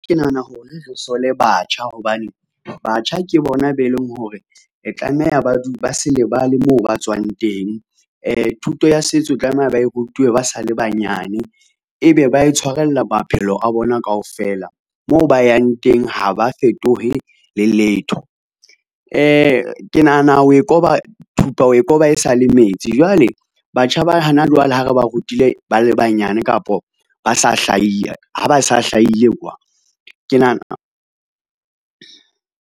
Ke nahana hore re sole batjha hobane batjha ke bona be leng hore e tlameha ba ba se lebale moo ba tswang teng. Thuto ya setso tlameha ba rutuwe ba sale banyane. Ebe ba e tshwarella maphelo a bona kaofela moo ba yang teng ha ba fetohe le letho. Ke nahana o e koba thupa o e koba e sale metsi. Jwale batjha ba hana jwale, ha re ba rutile, ba le banyane kapo ba sa ha ba sa hlahile kwa ke .